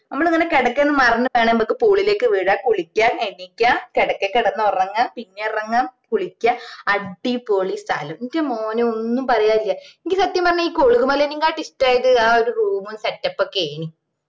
ഞമ്മള് ഇങ്ങനെ കിടക്കെന്റെ മറിഞ്ഞിട്ട് വേണേൽ pool ഇലേക്ക് വീഴാ കുളിക്കുവാ എണീക്കുവാ കിടക്കെ കിടന്ന് ഉറങ്ങുവാ പിന്നേം ഇറങ്ങാ കുളിക്കുവാ അടിപൊളി സ്ഥലം ന്റെ മോനെ ഒന്നും പറയാനില്ല എനക്ക് സത്യം പറഞ്ഞാ കുളുകുമലേനെക്കാളും ഇഷ്ടമായത് ആ room ഉം setup ഉം ഒക്കെയെനി